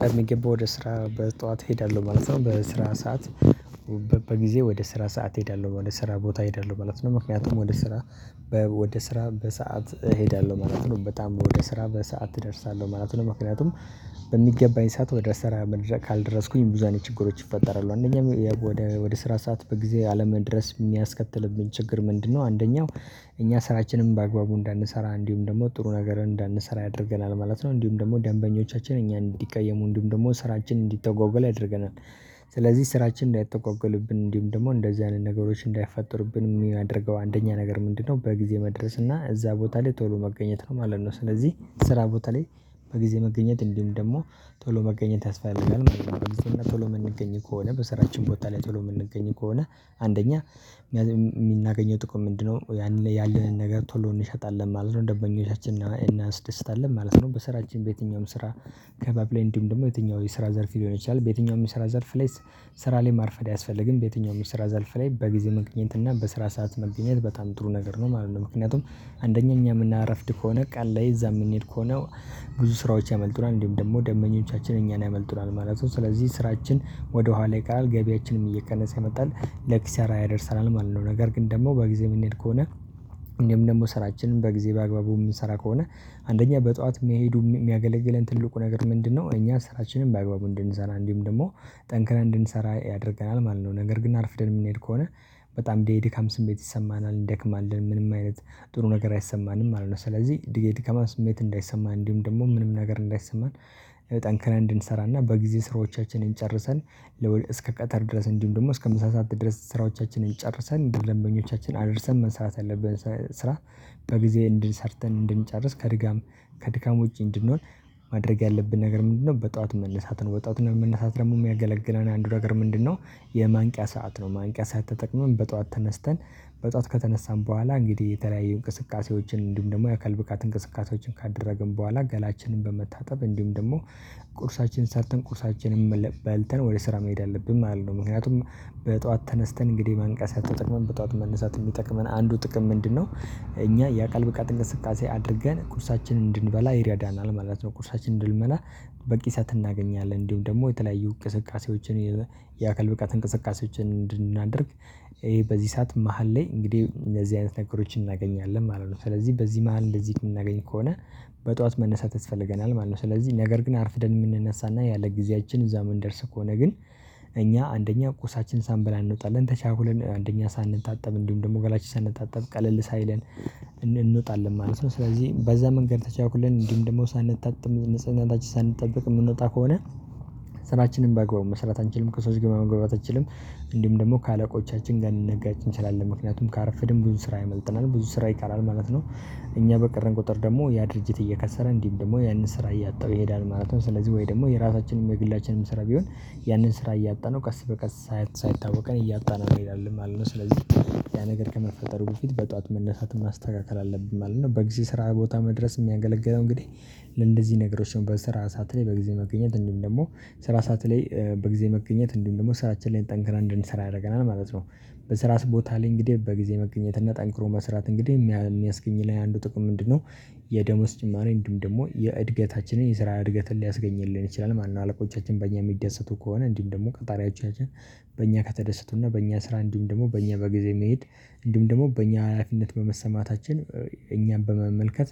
ከምግብ ወደ ስራ በጠዋት እሄዳለሁ ማለት ነው። በስራ ሰዓት። በጊዜ ወደ ስራ ሰዓት እሄዳለሁ ወደ ስራ ቦታ እሄዳለሁ ማለት ነው። ምክንያቱም ወደ ስራ። ወደ ስራ በሰአት እሄዳለሁ ማለት ነው። በጣም ወደ ስራ በሰአት እደርሳለሁ ማለት ነው። ምክንያቱም። በሚገባኝ ሰዓት ወደ ስራ ካልደረስኩኝ ብዙ አይነት ችግሮች ይፈጠራሉ። አንደኛም ወደ ስራ ሰዓት በጊዜ አለመድረስ የሚያስከትልብኝ ችግር ምንድነው? አንደኛው እኛ ስራችንም በአግባቡ እንዳንሰራ እንዲሁም ደግሞ ጥሩ ነገር እንዳንሰራ ያደርገናል ማለት ነው። እንዲሁም ደግሞ ደንበኞቻችን እኛ እንዲቀየሙ እንዲሁም ደግሞ ስራችንን እንዲተጎገል ያደርገናል። ስለዚህ ስራችን እንዳይተጎገልብን እንዲሁም ደግሞ እንደዚህ አይነት ነገሮች እንዳይፈጠሩብን የሚያደርገው አንደኛ ነገር ምንድነው? በጊዜ መድረስ እና እዛ ቦታ ላይ ቶሎ መገኘት ነው ማለት ነው። ስለዚህ ስራ ቦታ ላይ በጊዜ መገኘት እንዲሁም ደግሞ ቶሎ መገኘት ያስፈልጋል። ቶሎ የምንገኝ ከሆነ በስራችን ቦታ ላይ ጥሎ የምንገኝ ከሆነ አንደኛ የምናገኘው ጥቅም ምንድነው? ያንን ላይ ያለንን ነገር ቶሎ እንሸጣለን ማለት ነው። ደንበኞቻችንን እናስደስታለን ማለት ነው። በስራችን በየትኛውም ስራ። ከባብ ሌንዲም ደግሞ የትኛው የስራ ዘርፍ ሊሆን ይችላል። በየትኛውም የስራ ዘርፍ ላይ። ስራ ላይ ማርፈድ አያስፈልግም። በየትኛውም ስራ ዘርፍ ላይ በጊዜ መገኝት እና በስራ ሰዓት መገኝት በጣም ጥሩ ነገር ነው ማለት ነው። ምክንያቱም። አንደኛ እኛ የምናረፍድ ከሆነ ቃል ላይ እዛ የምንሄድ ሆነው ብዙ ስራዎች ያመልጡናል እንዲሁም ደግሞ ደመኞቻችን እኛን ያመልጡናል ማለት ነው። ስለዚህ ስራችን ወደ ኋላ ይቀራል ገቢያችንም እየቀነሰ ይመጣል። ለኪሳራ ያደርሰናል ማለት ነው። ነገር ግን ደግሞ በጊዜ የምንሄድ ከሆነ። እኔም ደግሞ ስራችንን በጊዜ በአግባቡ የምንሰራ ከሆነ አንደኛ በጠዋት መሄዱ የሚያገለግለን ትልቁ ነገር ምንድነው? እኛ ስራችንን በአግባቡ እንድንሰራ እንዲህም ደግሞ ጠንክረን እንድንሰራ ያደርገናል ማለት ነው። ነገር ግን አርፍደን የምንሄድ ከሆነ። በጣም የድካም ስሜት ይሰማናል እንደክማለን ምንም አይነት ጥሩ ነገር አይሰማንም ማለት ነው። ስለዚህ ድገት ከማስመት እንዳይሰማ እንዲሁም ደግሞ ምንም ነገር እንዳይሰማን። ጠንክረን እንድንሰራና በጊዜ ስራዎቻችንን ጨርሰን እስከ ቀጠር ድረስ እንዲሁም ደግሞ እስከ ምሳ ሰዓት ድረስ ስራዎቻችንን ጨርሰን እንዲህ ለምኞቻችን አድርሰን መስራት አለብን። ስራ በጊዜ እንድንሰርተን እንድንጨርስ ከድጋም ከድካም ውጪ እንድንሆን። ማድረግ ያለብን ነገር ምንድነው? በጠዋት መነሳት ነው። በጠዋት መነሳት ደግሞ የሚያገለግለን አንዱ ነገር ምንድነው? የማንቂያ ሰዓት ነው። ማንቂያ ሰዓት ተጠቅመን በጧት ተነስተን በጧት ከተነሳን በኋላ እንግዲህ የተለያየ እንቅስቃሴዎችን እንዲሁም ደግሞ የአካል ብቃት እንቅስቃሴዎችን ካደረግን በኋላ ገላችንን በመታጠብ እንዲሁም ደግሞ ቁርሳችንን ሰርተን ቁርሳችንን በልተን ወደ ስራ መሄድ አለብን። ማለት ነው። ምክንያቱም። በጧት ተነስተን እንግዲህ መንቀሳቀስ ያለበት ጠዋት መነሳት የሚጠቅመን አንዱ ጥቅም ምንድነው? እኛ የአካል ብቃት እንቅስቃሴ አድርገን ቁርሳችንን እንድንበላ ይረዳናል ማለት ነው። ቁርሳችንን እንድንበላ። በቂ ሰዓት እናገኛለን እንዲሁም ደግሞ የተለያዩ እንቅስቃሴዎችን። የአካል ብቃት እንቅስቃሴዎችን እንድናደርግ ይሄ በዚህ ሰዓት መሃል ላይ እንግዲህ እነዚህ አይነት ነገሮችን እናገኛለን ማለት ነው። ስለዚህ በዚህ መሃል እንደዚህ የምናገኝ ከሆነ። በጠዋት መነሳት ያስፈልገናል ማለት ነው። ስለዚህ ነገር ግን አርፍደን የምንነሳና ያለ ጊዜያችን እዛ መንደርስ ከሆነ ግን እኛ አንደኛ ቁርሳችንን ሳንበላ እንውጣለን ተቻኩለን አንደኛ ሳንታጠብ እንዲሁም ደግሞ ገላችን ሳንታጠብ ቀለል ሳይለን። እንወጣለን ማለት ነው። ስለዚህ በዛ መንገድ ተቻኩለን እንዲሁም ደግሞ ሳንጣጠብ ንጽህናችን ሳንጠብቅ የምንወጣ ከሆነ። ስራችንን ባግባብ መስራት አንችልም። ከሰዎች ግን መግባባታችንም እንዲሁም ደግሞ ከአለቆቻችን ጋር ልንነጋጭ እንችላለን ምክንያቱም ካርፍድም ብዙ ስራ ይመልጥናል ብዙ ስራ ይቀራል ማለት ነው። እኛ በቀረን ቁጥር ደግሞ ያ ድርጅት እየከሰረ እንዲህም ደግሞ ያንን ስራ እያጣው ይሄዳል ማለት ነው። ስለዚህ ወይ ደግሞ የራሳችንን የግላችንንም ስራ ቢሆን። ያንን ስራ እያጣነው ቀስ በቀስ ሳይታወቀን እያጣነው እንሄዳለን ማለት ነው። ስለዚህ። ያ ነገር ከመፈጠሩ በፊት በጧት መነሳትን ማስተካከል አለብን ማለት ነው። በጊዜ ስራ ቦታ መድረስ የሚያገለግለው እንግዲህ። ለእንደዚህ ነገሮች አሁን በስራ ሰዓት ላይ በጊዜ መገኘት እንዲሁ ደግሞ ስራ ሰዓት ላይ። በጊዜ መገኘት እንዲህ ደግሞ ስራችን ላይ እንጠንክራ እንድንሰራ ያደርገናል ማለት ነው። በስራ ስቦታ ላይ እንግዲህ በጊዜ መገኘትነት ጠንክሮ መስራት እንግዲህ የሚያስገኝ ላይ አንዱ ጥቅም ምንድነው? የደሞዝ ጭማሪ ወይም ደግሞ የእድገታችንን የስራ እድገትን ሊያስገኝልን ይችላል። ማነው አለቆቻችን በእኛ የሚደሰቱ ከሆነ እንዲህም ደግሞ ከጣሪያችን በእኛ ከተደሰቱና በእኛ ስራ እንዲሁም ደግሞ በእኛ በጊዜ መሄድ እንዲሁም ደግሞ በእኛ ሀላፊነት በመሰማታችን እኛን በመመልከት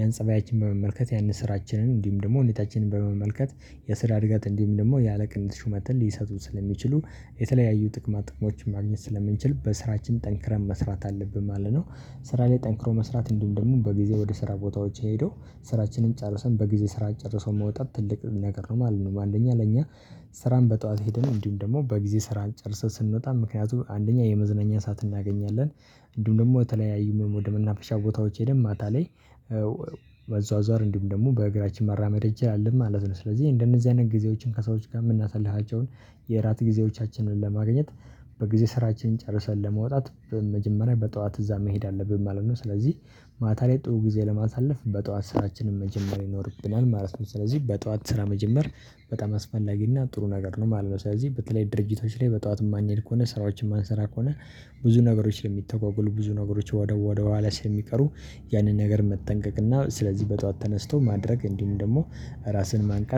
ያን ፀባያችን በመመልከት ያንን ስራችንን እንዲሁም ደግሞ ሁኔታችንን በመመልከት የስራ እድገት እንዲህም ደግሞ ያለ ቅንጥ ሹመት ሊሰጡ ስለሚችሉ የተለያዩ ጥቅማት ጥቅሞችን ማግኘት ስለምንችል በስራችን ጠንክረን መስራት አለብን ማለት ነው። ስራ ላይ ጠንክሮ መስራት እንደምን ደግሞ በጊዜ ወደ ስራ ቦታዎች ሄዶ። ስራችንን ጨርሰን በጊዜ ስራ ጨርሶ መውጣት ትልቅ ነገር ነው ማለት ነው። አንደኛ ለኛ። ስራን በጧት ሄደን እንዲሁም ደግሞ በጊዜ ስራን ጨርሰን ስንወጣ ምክንያቱም አንደኛ የመዝነኛ ሰዓት እናገኛለን። እንደውም ደግሞ የተለያዩ ወደ መናፈሻ ቦታዎች ሄደን ማታ ላይ። በዛው ዘር እንዲሁም ደግሞ በእግራችን መራመድ እንችላለን ማለት ነው። ስለዚህ እንደነዚህ አይነት ጊዜዎችን ከሰዎች ጋር የምናሳልፋቸውን። ጊዜዎቻችንን ለማግኘት። በጊዜ ስራችን ጨርሰን ለመውጣት በመጀመሪያ በጠዋት እዛ መሄድ አለብን ማለት ነው። ስለዚህ። ማታ ላይ ጥሩ ጊዜ ለማሳለፍ በጧት ስራችንን መጀመር ይኖርብናል ማለት ነው። ስለዚህ በጧት ስራ መጀመር በጣም አስፈላጊና ጥሩ ነገር ነው ማለት ነው። ስለዚህ በተለይ ድርጅቶች ላይ በጧት ማንሄድ ከሆነ ስራዎችን ማንሰራ ከሆነ። ብዙ ነገሮች ለሚተጓጎሉ ብዙ ነገሮች ወደ ወደ ዋለ ስለሚቀሩ። ያንን ነገር መጠንቀቅና ስለዚህ በጧት ተነስቶ ማድረግ እንዲህም ደግሞ ራስን ማንቃት